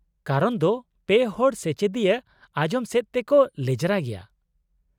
ᱠᱟᱨᱚᱱ ᱫᱚ ᱯᱮ ᱦᱚᱲ ᱥᱮᱪᱮᱫᱤᱭᱟᱹ ᱟᱸᱡᱚᱢ ᱥᱮᱡ ᱛᱮᱠᱚ ᱞᱮᱸᱡᱽᱨᱟ ᱜᱮᱭᱟ ᱾